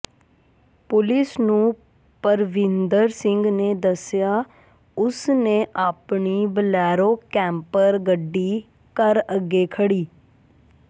police ਨੂੰ ਪਰਵਿੰਦਰ ਸਿੰਘ ਨੇ ਦੱਸਿਆ ਉਸ ਨੇ ਆਪਣੀ ਬਲੈਰੋ ਕੈਂਪਰ ਗੱਡੀ ਘਰ ਅੱਗੇ ਖੜ੍ਹੀ